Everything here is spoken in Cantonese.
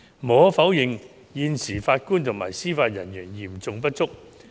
無可否認，現時法官及司法人員嚴重不足。